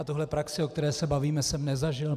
A tuhle praxi, o které se bavíme, jsem nezažil.